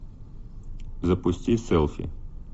запусти селфи